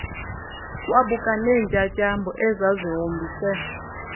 wabuka neentyatyambo ezazihombise